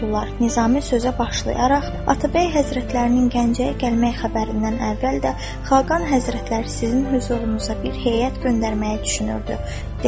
Nizami sözə başlayaraq Atabəy Həzrətlərinin Gəncəyə gəlmək xəbərindən əvvəl də Xaqan Həzrətləri sizin hüzurunuza bir heyət göndərməyi düşünürdü, dedi.